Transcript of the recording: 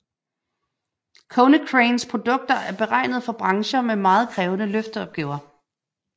Konecranes produkter er beregnet for brancher med meget krævende løfteopgaver